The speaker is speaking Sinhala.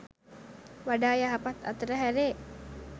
වඩා යහපත් අතට හැරේ.